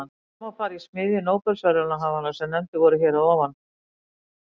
Þar má fara í smiðju nóbelsverðlaunahafanna sem nefndir voru hér að ofan.